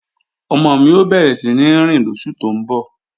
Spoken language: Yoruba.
Ọmọ mi ó bẹ̀rẹ̀ síní rìn lóṣù tó ń bọ̀